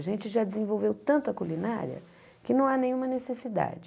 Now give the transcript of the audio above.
A gente já desenvolveu tanto a culinária que não há nenhuma necessidade.